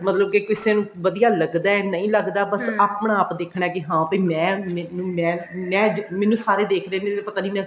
ਮਤਲਬ ਕਿ ਕਿਸੇ ਨੂੰ ਵਧੀਆ ਲੱਗਦਾ ਨੀ ਲੱਗਦਾ ਬੱਸ ਆਪਣਾ ਆਪ ਦੇਖਣਾ ਵੀ ਹਾਂ ਵੀ ਮੈਂ ਮੈਂ ਮੈਂ ਮੈਨੂੰ ਸਾਰੇ ਦੇਖਦੇ ਨੇ ਵੀ ਪਤਾ ਨਹੀਂ ਮੈਂ